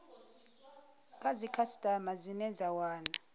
kha dzikhasitama dzine dza wana